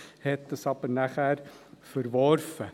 Man hat das aber verworfen.